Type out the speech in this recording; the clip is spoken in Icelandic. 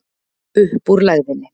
Upp úr lægðinni